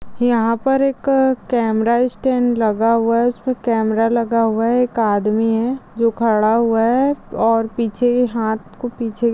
यहाँ पर एक कैमरास्टैंड लगा हुआ है उसपे कैमरा लगा हुआ है एक आदमी है जो खड़ा हुआ है। और पीछे हाथ को पीछे--